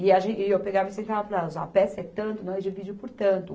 E a gen, e eu pegava e explicava para elas, ó, a peça é tanto, nós dividimos por tanto.